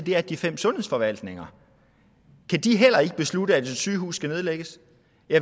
er de fem sundhedsforvaltninger kan de heller ikke beslutte at et sygehus skal nedlægges